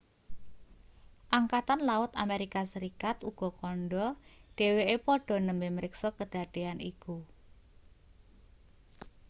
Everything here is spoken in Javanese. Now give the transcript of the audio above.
angkatan laut amerika serikat uga kandha dheweke padha nembe mriksa kedadean iku